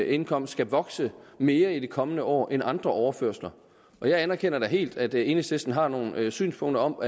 indkomst skal vokse mere i de kommende år end andre overførsler jeg anerkender helt at enhedslisten har nogle synspunkter om